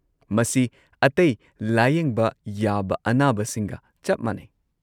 ꯃꯁꯤ ꯑꯇꯩ ꯂꯥꯌꯦꯡꯕ ꯌꯥꯕ ꯑꯅꯥꯕꯁꯤꯡꯒ ꯆꯞ ꯃꯥꯟꯅꯩ꯫